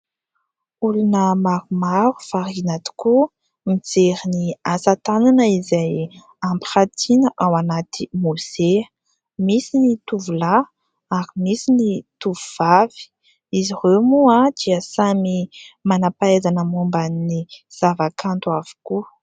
Olona maromaro variana tokoa mijery ny asa tanana izay ampirantiana ao anaty mozea : misy ny tovolahy ary misy ny tovovavy, izy ireo moa a, dia samy manam-pahaizana momban'ny zava-kanto avokoa.